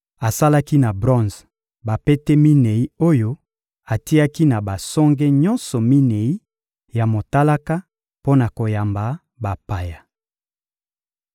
Asalaki na bronze bapete minei oyo atiaki na basonge nyonso minei ya motalaka mpo na koyamba mabaya.